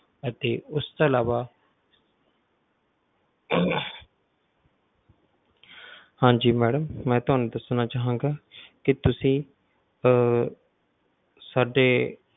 ਅਤੇ ਉਸਤੋਂ ਇਲਾਵਾ ਹਾਂਜੀ ਮੈਡਮ ਮੈਂ ਤੁਹਾਨੂੰ ਦੱਸਣਾ ਚਾਹਾਂਗਾ ਕਿ ਤੁਸੀਂ ਅਹ ਸਾਡੇ